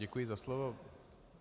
Děkuji za slovo.